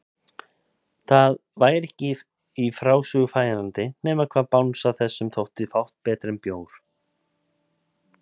Það væri ekki í frásögur færandi nema hvað bangsa þessum þótti fátt betra en bjór!